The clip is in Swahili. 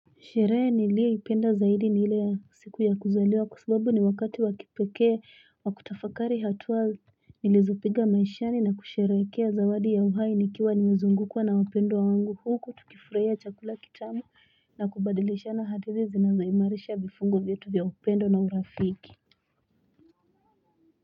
Sherehe niliyoipenda zaidi ni ile ya siku ya kuzaliwa kwsababu ni wakati wa kipekee wa kutafakari hatuwa nilizopiga maishani na kusherehekea zawadi ya uhai nikiwa nimezungukwa na wapendwa wangu huku tukifurahia chakula kitamu na kubadilishana hadithi zinazoimarisha vifungo vyetu ya upendo na urafiki.